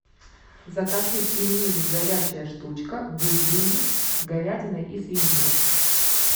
закажи пельмени горячая штучка бульмени с говядиной и свининой